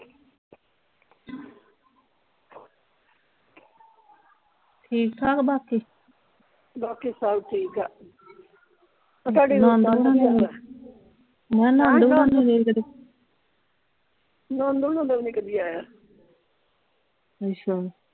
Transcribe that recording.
ਠੀਕ ਠਾਕ ਬਾਕੀ ਬਾਕੀ ਸਭ ਠੀਕ ਆ ਆ ਤੁਹਾਡੀ ਮੈਂ ਕਿਹਾ ਨਾਨਦੁ ਹੁਣਾ ਦਾ ਵੀ ਨਹੀਂ ਕਦੀ ਆਇਆ।